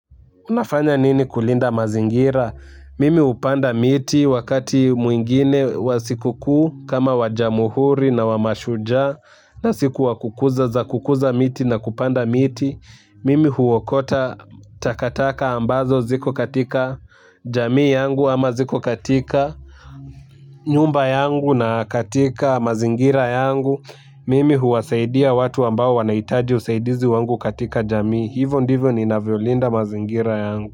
Unafanya nini kulinda mazingira? Mimi hupanda miti wakati mwingine wa sikukuu kama wa Jamuhuri na wa Mashujaa na siku wakukuza za kukuza miti na kupanda miti. Mimi huokota takataka ambazo ziko katika jamii yangu ama ziko katika nyumba yangu na katika mazingira yangu. Mimi huwasaidia watu ambao wanahitaji usaidizi wangu katika jamii. Hivyo ndivyo ninavyolinda mazingira yangu.